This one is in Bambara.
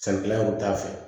San kilala o t'a fɛ